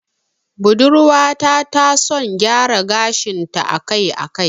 Budurwa ta ta son gyara gashin ta a kai a kai